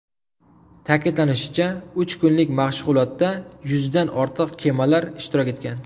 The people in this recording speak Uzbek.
Ta’kidlanishicha, uch kunlik mashg‘ulotda yuzdan ortiq kemalar ishtirok etgan.